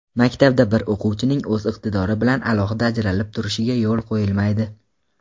Maktabda bir o‘quvchining o‘z iqtidori bilan alohida ajralib turishiga yo‘l qo‘yilmaydi!.